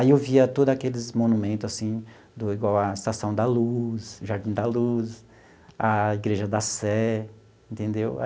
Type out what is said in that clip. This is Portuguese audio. Aí eu via todos aqueles monumentos, assim do, igual a Estação da Luz, Jardim da Luz, a Igreja da Sé, entendeu?